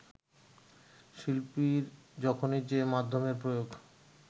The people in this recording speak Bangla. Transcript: শিল্পীর যখনই যে মাধ্যমের প্রয়োগ